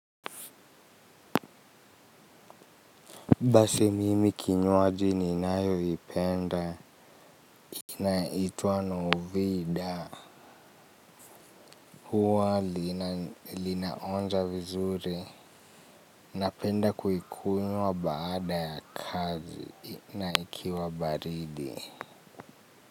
Basi mimi kinywaji ninayoipenda inaitwa novida. Huwa linaonja vizuri. Napenda kuikunywa baada ya kazi na ikiwa baridi.